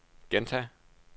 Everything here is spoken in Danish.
gentag